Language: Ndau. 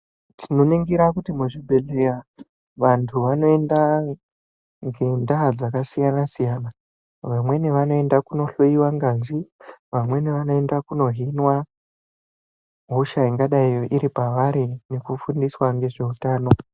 Tinoningira kuti muzvibhedhleya vantu vanoenda ngendaa dzakasiyana siyana, vamweni vanoenda kunohloiwa ngazi, vamweni vanoenda kuno hinwa hosha ingadai iripavari nekufundiswa ngezveutano.